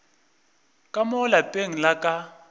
ka mo lapeng la ka